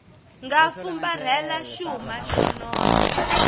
nga fumbarhela xuma xo nona